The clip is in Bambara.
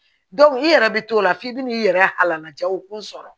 i yɛrɛ bɛ t'o la f'i bɛ n'i yɛrɛ halaja o kun sɔrɔ